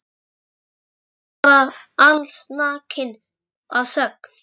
Syntu þar bara allsnakin að sögn.